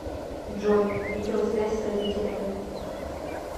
джой видеосвязь с родителями